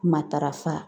Matarafa